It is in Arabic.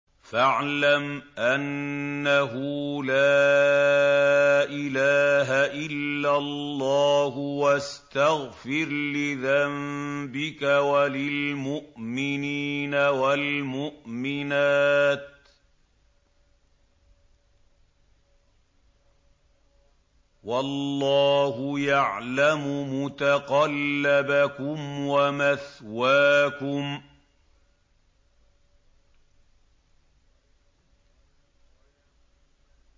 فَاعْلَمْ أَنَّهُ لَا إِلَٰهَ إِلَّا اللَّهُ وَاسْتَغْفِرْ لِذَنبِكَ وَلِلْمُؤْمِنِينَ وَالْمُؤْمِنَاتِ ۗ وَاللَّهُ يَعْلَمُ مُتَقَلَّبَكُمْ وَمَثْوَاكُمْ